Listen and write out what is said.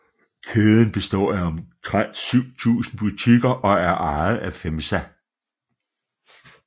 Kæden består af omtrent 7000 butikker og er ejet af FEMSA